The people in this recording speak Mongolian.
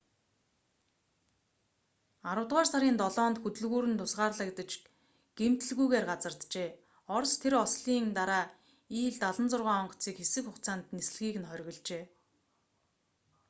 аравдугаар сарын 7-нд хөдөлгүүр нь тусгаарлагдаж гэмтэлгүйгээр газарджээ орос тэр ослын дараа ил-76 онгоцыг хэсэг хугацаанд нислэгийг нь хоригложээ